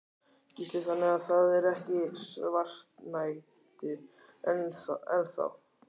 Gísli: Þannig að það er ekki svartnætti enn þá?